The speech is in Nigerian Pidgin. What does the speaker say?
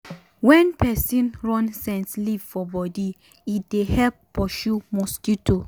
wen peson run scent leaf for bodi e um dey help pursue um mosquito. um